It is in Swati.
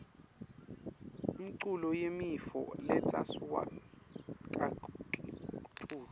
umcul yimifo letsa suwa kakitulu